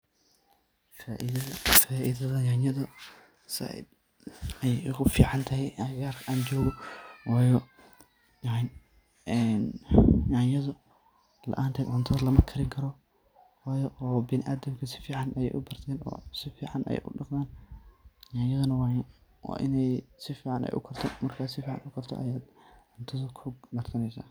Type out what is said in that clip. Faidada yanyada zaid ayey u ficantahay agagarka an jogo wayo yanyada laanted cuntada lama karin karo wayo biniadamka si fican ayey u barten oo si fican ayey u dhaqman , yanyaduna waa iney si fican ay u karto , markey si fican ay u karto ayey cuntadu ku dadameysa.